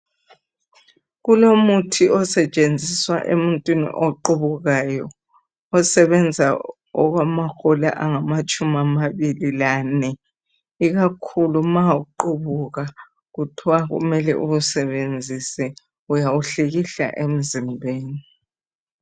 Kulomuthi osetshenziswa emuntwini oqubukayo osebenza okwamahola angamatshumi amabili lane. Ikakhulu ma uqubuka kuthwa kumele uwusebenzise. Uyawuhlikihla emzimbeni.